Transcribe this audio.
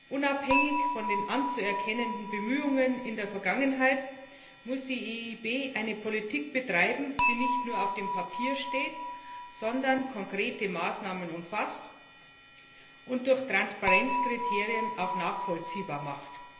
Unabhängig von den anzuerkennenden Bemühungen in der Vergangenheit muss die EIB eine Politik betreiben, die nicht nur auf dem Papier steht, sondern konkrete Maßnahmen umfasst und durch Transparenzkriterien auch nachvollziehbar macht.